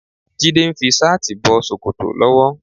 Jídé ń fi ṣáàtì bọ ṣòkòtò lọ́wọ́.